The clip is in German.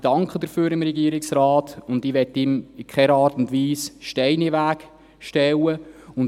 Ich danke dem Regierungsrat dafür und möchte ihm in keiner Art und Weise Steine in den Weg legen.